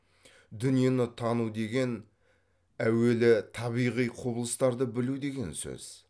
дүниені тану деген әуелі табиғи құбылыстарды білу деген сөз